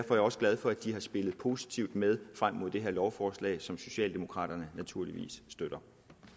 også glad for at de har spillet positivt med frem mod det her lovforslag som socialdemokraterne naturligvis støtter